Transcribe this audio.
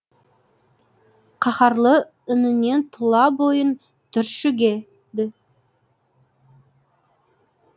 қаһарлы үнінен тұла бойың түрші геді